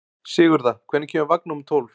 Sigurða, hvenær kemur vagn númer tólf?